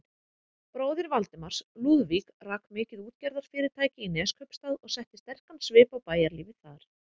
Bróðir Valdimars, Lúðvík, rak mikið útgerðarfyrirtæki í Neskaupsstað og setti sterkan svip á bæjarlífið þar.